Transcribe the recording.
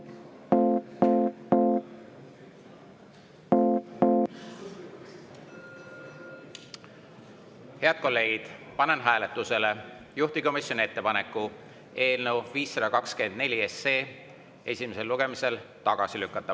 Head kolleegid, panen hääletusele juhtivkomisjoni ettepaneku eelnõu 524 esimesel lugemisel tagasi lükata.